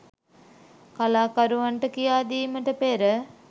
කලාකරුවන්ට කියාදීමට පෙර